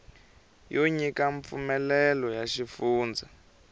yo nyika mpfumelelo ya xifundza